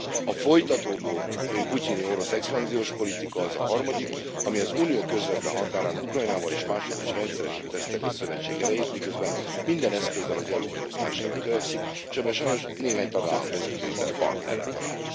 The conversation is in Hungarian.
A folytatódó putyini orosz expanziós politika az a harmadik, ami az Unió közvetlen határán, Ukrajnából és másutt is rendszeresen teszteli a szövetség erejét, miközben minden eszközzel az EU megosztására törekszik, és ebben sajnos némely tagállam vezetőiben partnerre talál.